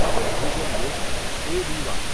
Atal Bhujal Yojana A B Y